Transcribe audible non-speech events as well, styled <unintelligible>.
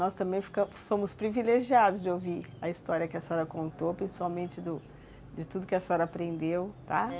Nós também <unintelligible> somos privilegiados de ouvir a história que a senhora contou, principalmente do de tudo que a senhora aprendeu, tá?